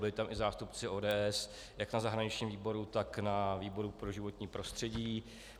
Byli tam i zástupci ODS jak na zahraničním výboru, tak na výboru pro životní prostředí.